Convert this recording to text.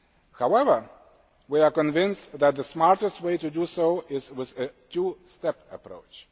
However we are convinced that the smartest way to do so is with a two step approach.